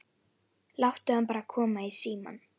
Láttu hana bara koma í símann.